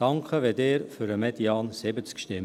Danke, wenn Sie für den Median von 70 stimmen.